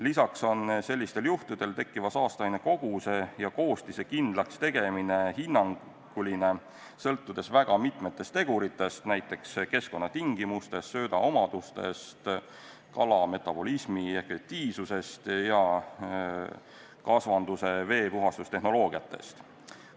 Lisaks on sellistel juhtudel tekkiva saasteaine koguse ja koostise kindlakstegemine hinnanguline, sõltudes väga mitmest tegurist, näiteks keskkonnatingimustest, sööda omadustest, kala metabolismi efektiivsusest ja kasvanduse veepuhastustehnoloogiatest.